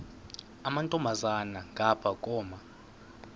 amantombazana ngapha koma